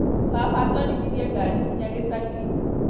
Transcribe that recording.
Baba atwarithirie ngari nginya gĩcagi